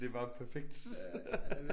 Det var perfekt